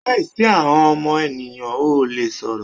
Láìsí ahọ́n ọmọ ènìyàn ò lè sọ̀rọ̀.